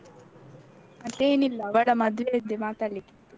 ಮತ್ತೇನಿಲ್ಲ ಅವಳ ಮದುವೆಯದ್ದೇ ಮಾತಾಡ್ಲಿಕ್ಕಿತ್ತು.